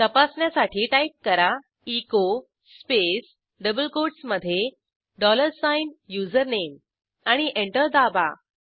तपासण्यासाठी टाईप करा echo space double कोटसमधे डॉलर साइन युझरनेम आणि एंटर दाबा